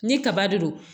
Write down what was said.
Ni kaba de don